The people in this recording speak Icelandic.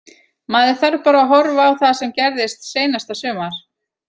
Maður þarf bara að horfa á það sem gerðist seinasta sumar.